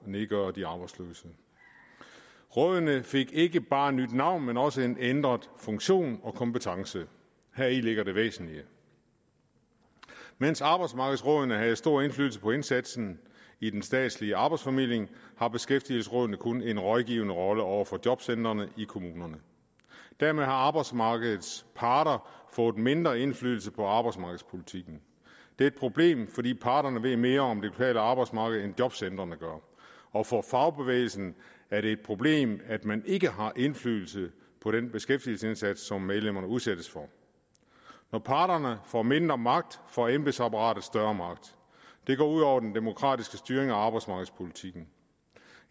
nedgøre de arbejdsløse rådene fik ikke bare nyt navn men også en ændret funktion og kompetence heri ligger det væsentlige mens arbejdsmarkedsrådene havde stor indflydelse på indsatsen i den statslige arbejdsformidling har beskæftigelsesrådene kun en rådgivende rolle over for jobcentrene i kommunerne dermed har arbejdsmarkedets parter fået mindre indflydelse på arbejdsmarkedspolitikken det er et problem fordi parterne ved mere om det lokale arbejdsmarked end jobcentrene gør og for fagbevægelsen er det et problem at man ikke har indflydelse på den beskæftigelsesindsats som medlemmerne udsættes for når parterne får mindre magt får embedsapparatet større magt det går ud over den demokratiske styring af arbejdsmarkedspolitikken